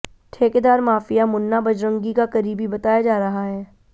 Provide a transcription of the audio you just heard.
ठेकेदार माफिया मुन्ना बजरंगी का करीबी बताया जा रहा है